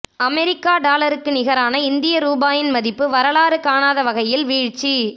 America டாலருக்கு நிகரான இந்திய ரூபாயின் மதிப்பு வரலாறு காணாத வகையில் வீழ்ச்சி